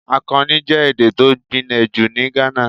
Akani jẹ́ èdè tó gbinle jù ní Ghana.